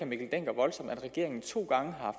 mikkel dencker voldsomt at regeringen to gange har